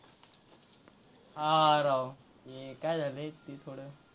हां, राव ते काय झालंय ते थोडं,